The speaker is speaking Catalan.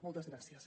moltes gràcies